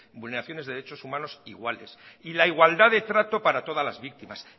vulneraciones de derechos humanos iguales y la igualdad de trato para todas las víctimas